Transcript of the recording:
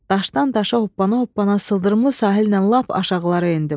Daşdan daşa hoppana-hoppana sıldırımlı sahillə lap aşağılara endim.